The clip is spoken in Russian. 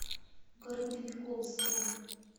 городовиковске